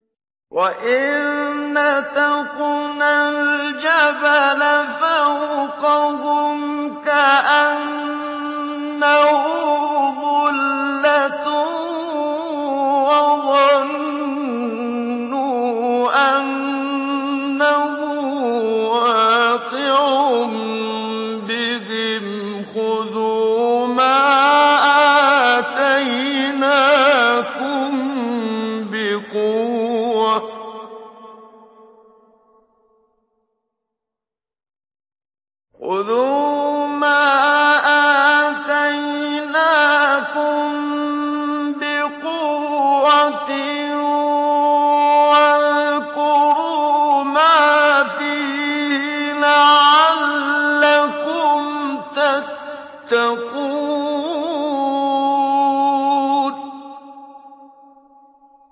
۞ وَإِذْ نَتَقْنَا الْجَبَلَ فَوْقَهُمْ كَأَنَّهُ ظُلَّةٌ وَظَنُّوا أَنَّهُ وَاقِعٌ بِهِمْ خُذُوا مَا آتَيْنَاكُم بِقُوَّةٍ وَاذْكُرُوا مَا فِيهِ لَعَلَّكُمْ تَتَّقُونَ